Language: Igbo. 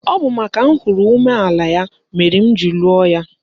Ọ bụ makana ahụrụ m umeala ya mere m ji lụọ ya.